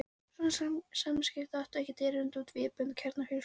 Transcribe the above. Svona samskipti áttu ekkert erindi út fyrir vébönd kjarnafjölskyldunnar.